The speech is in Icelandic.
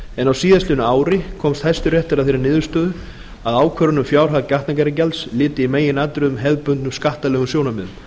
en á síðastliðnu ári komst hæstiréttur að þeirri niðurstöðu að ákvörðun um fjárhæð gatnagerðargjalds lyti í meginatriðum hefðbundnum skattalegum sjónarmiðum